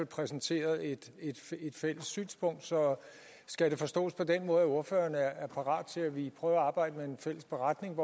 præsenteret et fælles synspunkt så skal det forstås på den måde at ordføreren er parat til at vi prøver at arbejde med en fælles beretning